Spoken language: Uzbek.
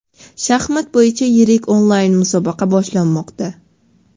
Shaxmat bo‘yicha yirik onlayn musobaqa boshlanmoqda.